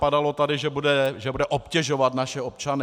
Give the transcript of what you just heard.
Padalo tady, že bude obtěžovat naše občany.